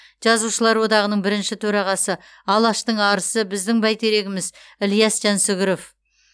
жазушылар одағының бірінші төрағасы алаштың арысы біздің бәйтерегіміз ілияс жансүгіров